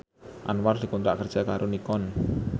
Anwar dikontrak kerja karo Nikon